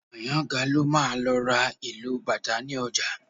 Àyàngalú máa lọ ra ìlù bàtá ní ọjà